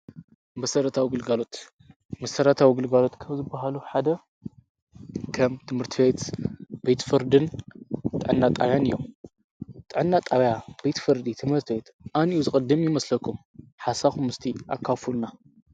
በሠረታ ኣውግልጋሎት ምሠራት ወግልጋሎት ከብ ዝበሃሉ ሓደ ከም ትምህርትቤየት ቤትፍርድን ጠና ጣውያን እዮም ጠናጣውያ ቤትፍርዲ ትመርትበት ኣን እዩ ዝቕድም ይመስለኩም ሓሳኹሙስቲ ኣካፉልና።